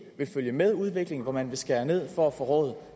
vil følge med udviklingen men hvor man vil skære ned for at få råd